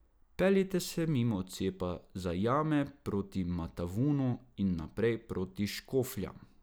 Peljite se mimo odcepa za jame proti Matavunu in naprej proti Škofljam.